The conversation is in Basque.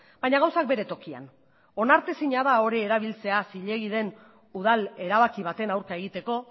baina gauzak bere tokian onartezina da hori erabiltzea zilegi den udal erabaki baten aurka egiteko